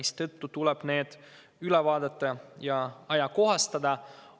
Seetõttu tuleb need üle vaadata ja ajakohastada.